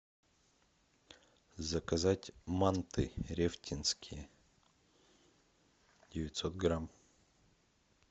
заказать манты рефтинские девятьсот грамм